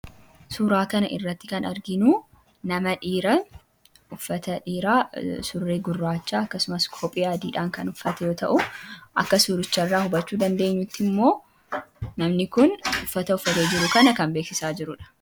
Suuraa kanarratti kan arginu nama dhiira uffata dhiiraa surree gurraacha akkasumas kophee adiidhaan uffate yommuu ta'u, akka suuricha itraa hubachuu dandeenyutti immoo namni kun uffata uffatee jiru kana kan beeksisaa jirudha.